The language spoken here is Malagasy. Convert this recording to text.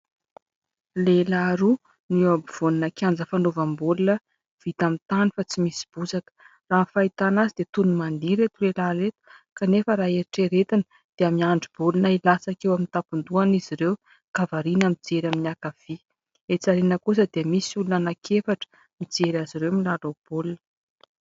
Lehilahy roa ny eo ampovoana kianja fanaovam-baolina vita amin'ny tany fa tsy misy bozaka. Raha ny fahitana azy dia toy ny mandeha ireto lehilahy ireto kanefa raha eritreretina dia miandry baolina hilatsaka eo amin'ny tampon-dohany izy ireo ka variany mijery amin'ny ankavia. Etsy aoriana kosa dia misy olona anankiefatra mijery azy ireo milalao baolina.